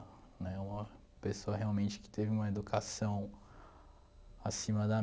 Né, uma pessoa realmente que teve uma educação acima da